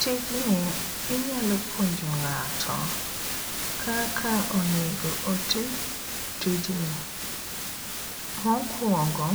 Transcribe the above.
Tijni inyalo puonjo ng'ato kaka onego oti tijni. Mokwongo ,